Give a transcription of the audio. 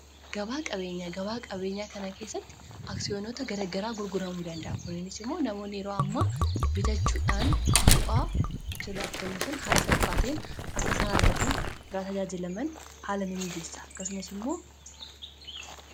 gabaa qabeenyaa gabaa-qabeenyaa kana keessatti aksiyoonota garagaraa gurguramuu danda'a kuninis immoo namoonni yeroo ammaa bitachuudhaan bu'aa achirraa argamuu san haala salphaa ta'een akkasaan argatanii irraa tajaajilaman haala mimiijessa akkasumas immoo